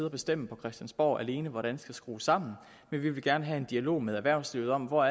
og bestemme på christiansborg alene hvordan det skal skrues sammen vi vil gerne have en dialog med erhvervslivet om hvor